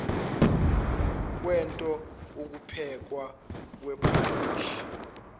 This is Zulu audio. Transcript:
kwento ukuphekwa kwephalishi